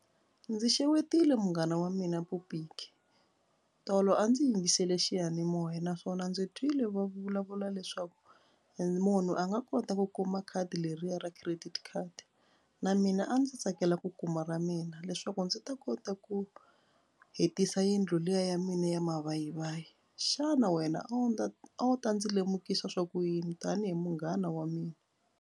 Ndzi xewetile munghana wa mina tolo a ndzi yingisele xiyanimoya naswona ndzi twile va vulavula leswaku munhu a nga kota ku kuma khadi leriya ra credit card na mina a ndzi tsakela ku kuma ra mina leswaku ndzi ta kota ku hetisa yindlu liya ya mina ya mavayivayi. Xana wena a wu a wu ta ndzi lemukisa swa ku yini tanihi munghana wa mina.